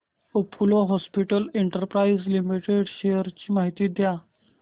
Apollo Hospitals Enterprise Limited shares ची माहिती द्या